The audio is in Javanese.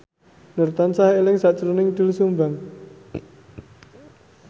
Nur tansah eling sakjroning Doel Sumbang